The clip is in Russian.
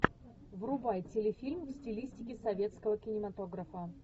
врубай телефильм в стилистике советского кинематографа